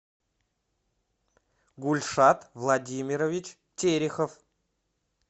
гульсат владимирович терехов